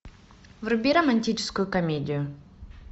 вруби романтическую комедию